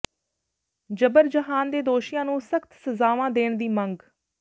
ਜਬਰ ਜਨਾਹ ਦੇ ਦੋਸ਼ੀਆਂ ਨੂੰ ਸਖ਼ਤ ਸਜ਼ਾਵਾਂ ਦੇਣ ਦੀ ਮੰਗ